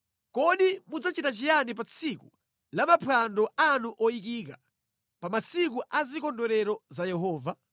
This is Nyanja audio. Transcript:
Kodi mudzachita chiyani pa tsiku la maphwando anu oyikika; pa masiku a zikondwerero za Yehova?